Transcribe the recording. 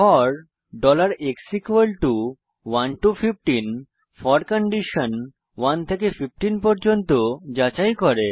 four x 1 to 15 1 থেকে 15 পর্যন্ত four condition যাচাই করে